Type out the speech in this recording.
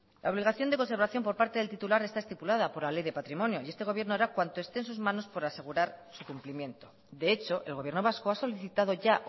la obligación de conservación por parte del titular está estipulada por la ley de patrimonio y este gobierno hará cuanto esté en sus manos por asegurar su cumplimiento de hecho el gobierno vasco ha solicitado ya